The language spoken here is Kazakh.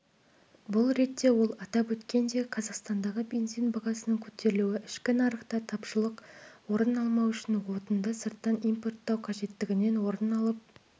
бұл ретте ол атап өткендей қазақстандағы бензин бағасының көтерілуі ішкі нарықта тапшылық орын алмау үшін отынды сырттан импорттау қажеттігінен орын алып